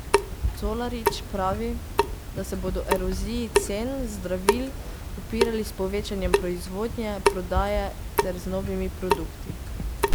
Colarič pravi, da se bodo eroziji cen zdravil upirali s povečanjem proizvodnje, prodaje ter z novimi produkti.